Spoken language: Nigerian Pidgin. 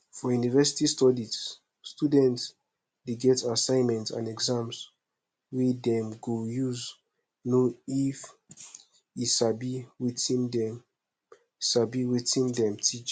for university studies student de get assignment and exams wey dem go use know if e sabi wetin dem sabi wetin dem teach